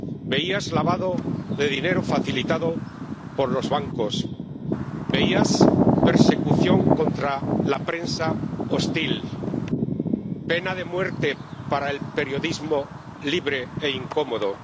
Veías lavado de dinero facilitado por los bancos veías persecución contra la prensa hostil, pena de muerte para el periodismo libre e incómodo.